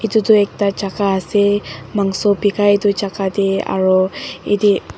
edu toh ekta jaka ase mangso bikai edu jaka tae aro atae.